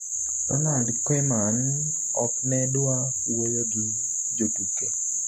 Ronald Koeaman ok ne dwa wuoyo gi jotuke